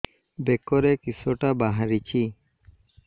ବେକରେ କିଶଟା ବାହାରିଛି